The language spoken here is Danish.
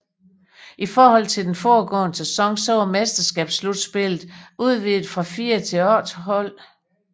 I forhold til den foregående sæson var mesterskabsslutspillet udvidet fra fire til otte hold